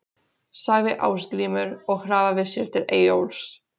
sagði Ásgrímur og hraðaði sér til Eyjólfs.